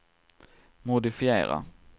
modifiera